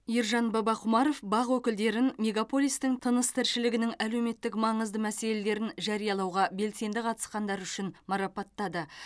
ержан бабақұмаров бақ өкілдерін мегаполистің тыныс тіршілігінің әлеуметтік маңызды мәселелерін жариялауға белсенді қатысқандары үшін марапаттады